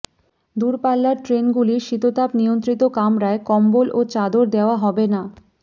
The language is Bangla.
দূরপাল্লার ট্রেনগুলির শীতাতপ নিয়ন্ত্রিত কামরায় কম্বল ও চাদর দেওয়া হবে না